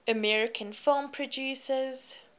american film producers